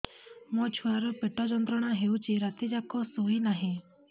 ମୋ ଛୁଆର ପେଟ ଯନ୍ତ୍ରଣା ହେଉଛି ରାତି ଯାକ ଶୋଇନାହିଁ